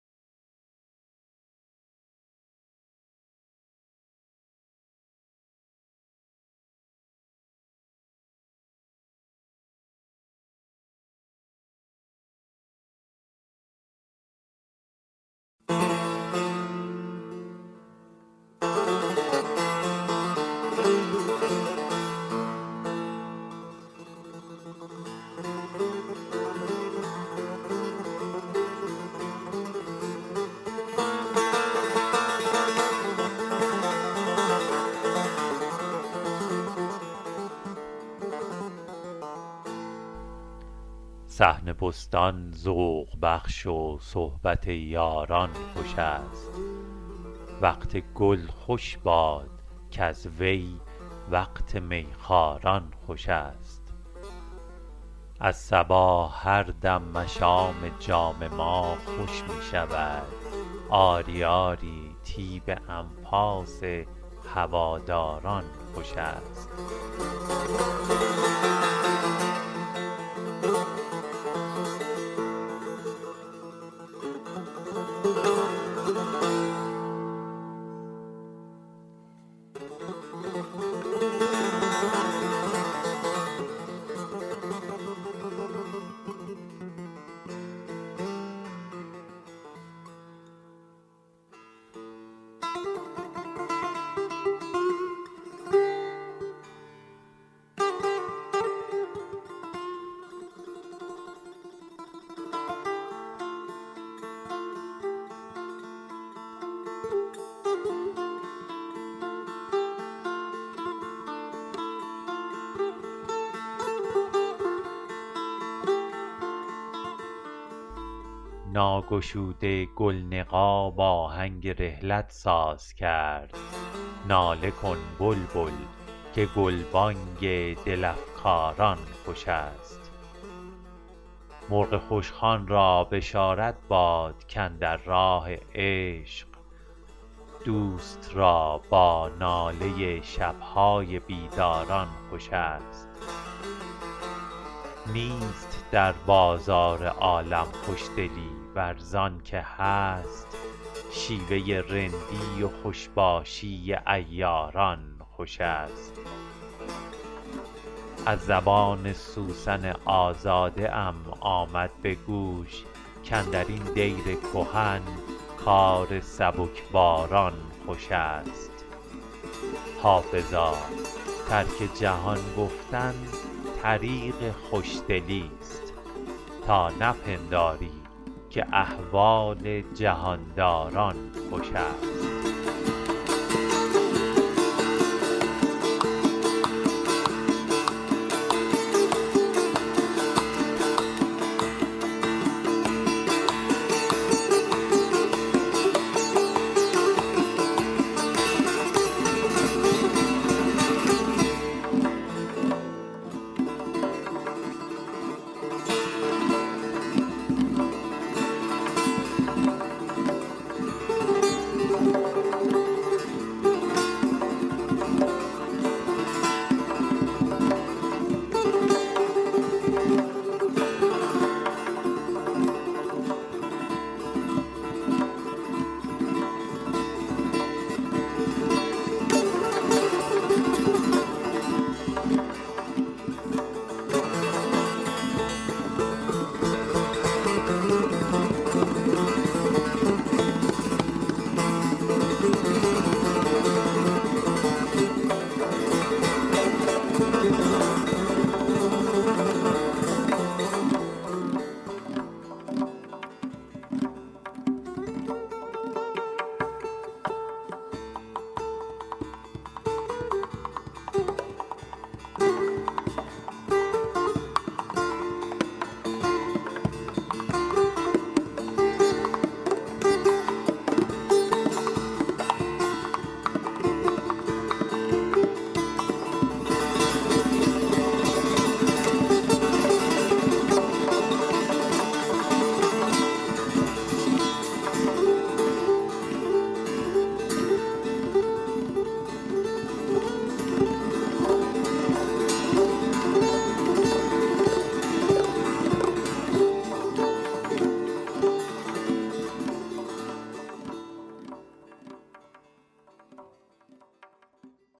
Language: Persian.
صحن بستان ذوق بخش و صحبت یاران خوش است وقت گل خوش باد کز وی وقت می خواران خوش است از صبا هر دم مشام جان ما خوش می شود آری آری طیب انفاس هواداران خوش است ناگشوده گل نقاب آهنگ رحلت ساز کرد ناله کن بلبل که گلبانگ دل افکاران خوش است مرغ خوشخوان را بشارت باد کاندر راه عشق دوست را با ناله شب های بیداران خوش است نیست در بازار عالم خوشدلی ور زان که هست شیوه رندی و خوش باشی عیاران خوش است از زبان سوسن آزاده ام آمد به گوش کاندر این دیر کهن کار سبکباران خوش است حافظا ترک جهان گفتن طریق خوشدلیست تا نپنداری که احوال جهان داران خوش است